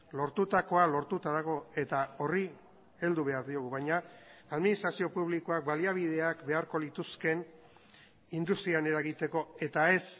lortutakoa lortuta dago eta horri heldu behar diogu baina administrazio publikoak baliabideak beharko lituzkeen industrian eragiteko eta ez